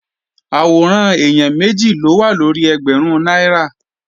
Àwòrán èèyàn méjì ló wà lórí ẹgbẹ̀rún náírà